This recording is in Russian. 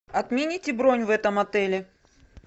отмените бронь в этом отеле